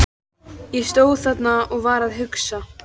Ég stóð þarna og var að hugsa.